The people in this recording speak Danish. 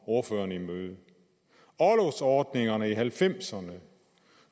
ordføreren imøde orlovsordningerne i nitten halvfemserne